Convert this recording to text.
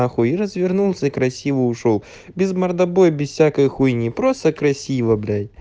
на хуй и развернулся и красиво ушёл без мордобоя без всякой хуйни просто красиво блять